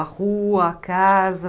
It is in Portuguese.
A rua, a casa?